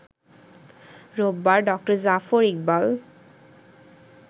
রোববার ড.জাফর ইকবাল